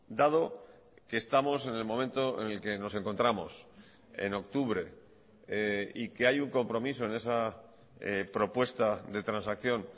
dado que estamos en el momento en el que nos encontramos en octubre y que hay un compromiso en esa propuesta de transacción